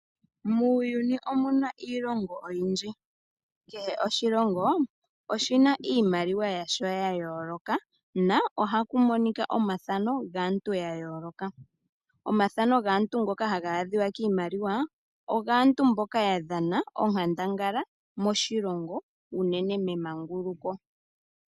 Muuyuni omu na iilongo oyindji. Kehe oshilongo oshi na iimaliwa yasho ya yooloka nohaku monika omathano gaantu ya yooloka. Omathano gaantu ngoka haga adhika kiimaliwa, ogaantu mboka ya dhana onkandangala moshilongo unene memanguluko.